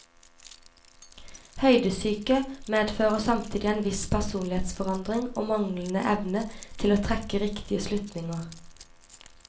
Høydesyke medfører samtidig en viss personlighetsforandring og manglende evne til å trekke riktige slutninger.